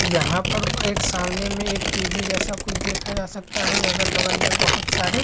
यहाँ पर एक सामने में एक टी.वी. जैसा कुछ देखा जा सकता है अगल-बगल में बोहोत सारे --